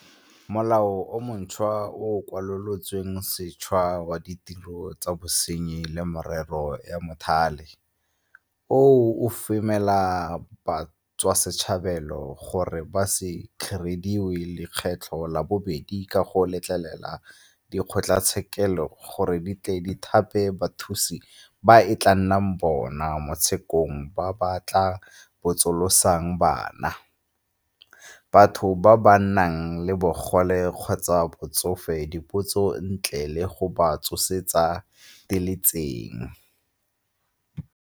Molao o montšhwa o o Kwalolotsweng Sešwa wa Ditiro tsa Bosenyi le Merero ya Mothale oo o femela batswasetlhabelo gore ba se kgariediwe lekgetlo la bobedi ka go letlelela dikgotlatshekelo gore di thape bathusi ba e tla nnang bona mo tshekong ba ba tla botsolotsang bana, batho ba ba nang le bogole kgotsa batsofe dipotso ntle le go ba tsosetsa diletseng.